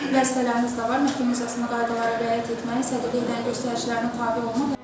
Vəzifələriniz də var, məhkəmə müzakirəsində qaydalara riayət etməyə, sədrliyin göstərişlərinə tabe olma.